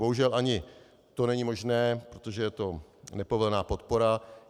Bohužel ani to není možné, protože je to nepovolená podpora.